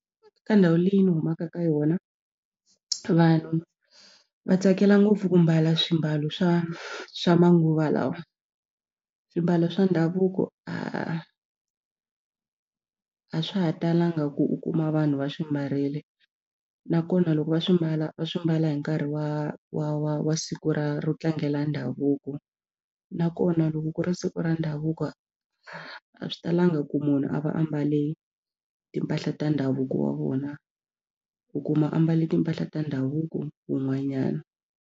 Ka ndhawu leyi ni humaka ka yona vanhu va tsakela ngopfu ku mbala swimbalo swa swa manguva lawa swimbalo swa ndhavuko a swa ha talanga ku u kuma vanhu va swi mbarile nakona loko va swi mbala va swi mbala hi nkarhi wa wa wa wa siku ra ro tlangela ndhavuko nakona loko ku ri siku ra ndhavuko a swi talanga ku munhu a va ambale timpahla ta ndhavuko wa vona u kuma ambala timpahla ta ndhavuko wun'wanyana.